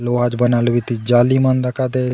लोहा चो बनालो बीती झाली मन दखा देये।